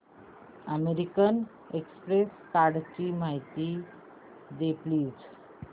American Express कार्डची माहिती दे प्लीज